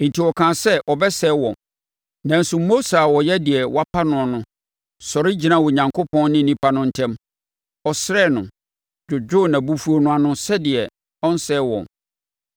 Enti ɔkaa sɛ ɔbɛsɛe wɔn, nanso Mose a ɔyɛ deɛ wapa noɔ no sɔre gyinaa Onyankopɔn ne nnipa no ntam; ɔsrɛɛ no, dwodwoo nʼabufuo no ano sɛdeɛ ɔrensɛe wɔn.